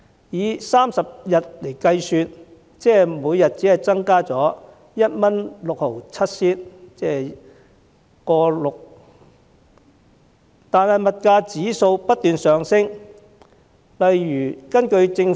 以每月30天計算，綜援金額平均每天只增加了 1.67 元，但物價指數卻不斷上升。